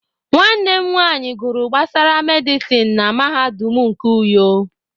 Nwanne m nwanyị gụrụ gbasara medịsịn na mahadum nke Uyo.